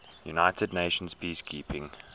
united nations peacekeeping